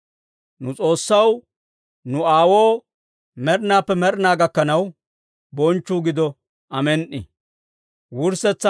Nu S'oossaw, nu Aawoo med'inaappe med'inaa gakkanaw bonchchuu gido. Amen"i.